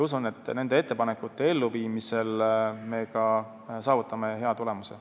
Usun, et nende ettepanekute elluviimisel me saavutame hea tulemuse.